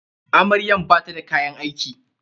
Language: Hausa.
Amaryan bata da kayan aiki.